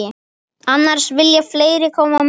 Annars vilja fleiri koma með.